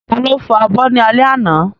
Ta ló fọ abọ́ ní alẹ́ àná?